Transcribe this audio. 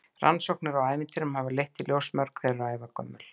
Rannsóknir á ævintýrum hafa leitt í ljós að mörg þeirra eru ævagömul.